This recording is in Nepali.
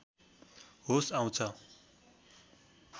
होस आउँछ